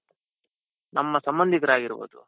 ನಮ್ಮ ಸಂಭದಿಕರೆ ಆಗಿರ್ಬಹುದು